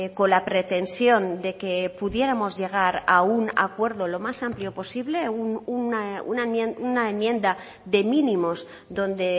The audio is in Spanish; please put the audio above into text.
con la pretensión de que pudiéramos llegar a un acuerdo lo más amplio posible una enmienda de mínimos donde